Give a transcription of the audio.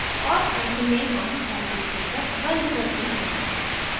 और and में हम file descriptor and करते हैं